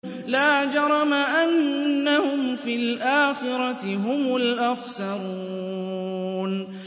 لَا جَرَمَ أَنَّهُمْ فِي الْآخِرَةِ هُمُ الْأَخْسَرُونَ